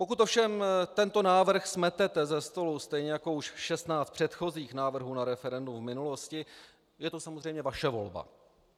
Pokud ovšem tento návrh smetete ze stolu stejně jako už 16 předchozích návrhů na referendum v minulosti, je to samozřejmě vaše volba.